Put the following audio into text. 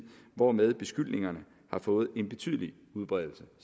hvorved beskyldningerne har fået en betydelig udbredelse